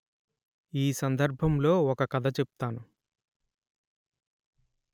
ఈ సందర్భంలో ఒక కథ చెప్తాను